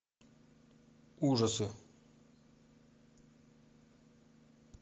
ужасы